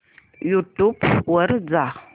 YouTube वर जा